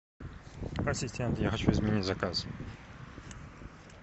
ассистент я хочу изменить заказ